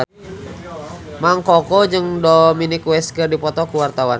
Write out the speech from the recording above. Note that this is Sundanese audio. Mang Koko jeung Dominic West keur dipoto ku wartawan